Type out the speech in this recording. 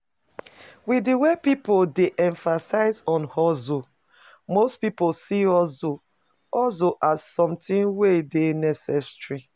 With di wey pipo dey emphasize on hustle, most pipo see hustle as something we dey necessary